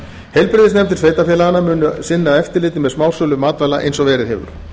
heilbrigðisnefndir sveitarfélaganna munu sinna eftirliti með smásölu matvæla eins og verið hefur